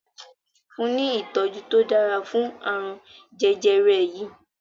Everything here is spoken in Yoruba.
fun ní itọju to dára fún arun jẹjẹrẹ yí!